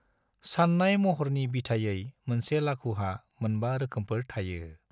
सान्नाय महरनि बिथायै मोनसे लाघुहा मोनबा रोखोमफोर थायो